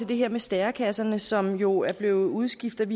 det her med stærekasserne som jo er blevet udskiftet